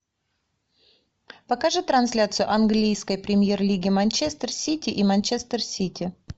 покажи трансляцию английской премьер лиги манчестер сити и манчестер сити